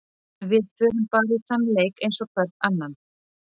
Við förum bara í þann leik eins og hvern annan.